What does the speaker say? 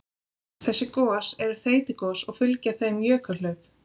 Þessi gos eru þeytigos og fylgja þeim jökulhlaup.